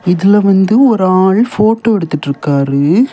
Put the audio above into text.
இதுல வந்து ஒரு ஆள் போட்டோ எடுத்துட்டு இருக்காரு.